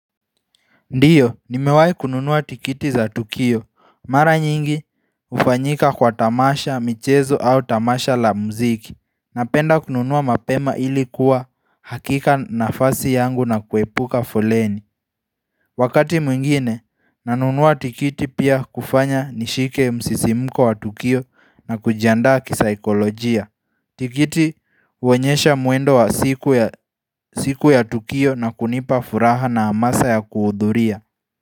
Ndiyo, nimewahi kununua tikiti za Tukio. Mara nyingi hufanyika kwa tamasha, michezo au tamasha la muziki. Napenda kununuwa mapema ili kuwa hakika nafasi yangu na kuepuka fuleni. Wakati mwingine, nanunuwa tikiti pia kufanya nishike msisimko wa Tukio na kujiandaa kisaikolojia. Tikiti huonyesha mwendo wa siku ya Tukio na kunipa furaha na amasa ya kuhudhuria.